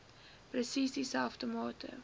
presies dieselfde mate